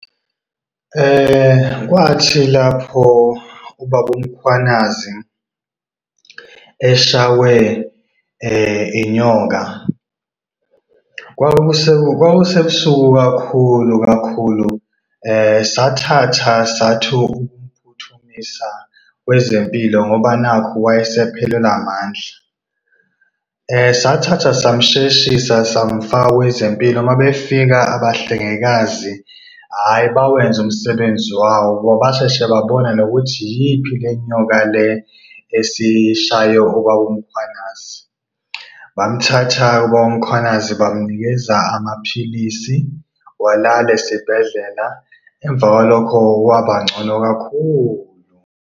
Kwathi lapho ubaba uMkhwanazi eshawe inyoka, kwakusebusuku kakhulu kakhulu. Sathatha sathi ukumphuthumisa kwezempilo ngoba nakhu wayesephelelwe amandla. Sathatha samsheshisa samfaka kwezempilo. Mabefika abahlengikazi ayi, bawenza umsebenzi wabo, basheshe babona nokuthi iyiphi le nyoka le esishaye ubaba uMkhwanazi. Bamthatha-ke ubaba uMkhwanazi bamnikeza amaphilisi walala esibhedlela. Emva kwalokho, wabangcono kakhulu.